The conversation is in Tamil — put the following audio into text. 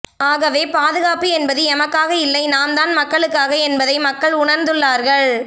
ஆகவே பாதுகாப்பு என்பது எமக்காக இல்லை நாம்தான் மக்களுக்காக என்பதை மக்கள் உணர்ந்துள்ளார்கள்